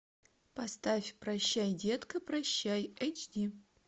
поставь прощай детка прощай эйч ди